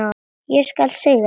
Ég skal sigra!